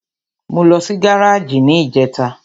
Mo lọ sí gáràjì ní ìjẹta.